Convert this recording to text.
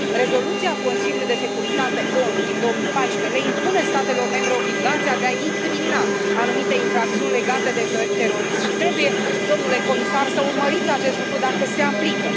Rezoluția Consiliului de securitate ONU din 2014 le impune statelor membre obligația de a incrimina anumite infracțiuni legate de terorism și trebuie, domnule comisar, să urmăriți acest lucru dacă se aplică.